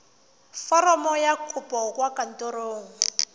foromo ya kopo kwa kantorong